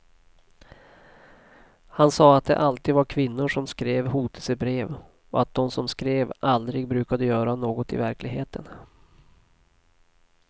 Han sa att det alltid var kvinnor som skrev hotelsebrev och att dom som skrev aldrig brukade göra något i verkligheten.